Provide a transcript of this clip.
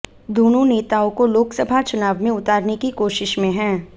दोनों नेताओं को लोकसभा चुनाव में उतारने की कोशिश में है